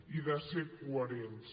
i de ser coherents